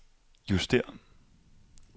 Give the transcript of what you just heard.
justér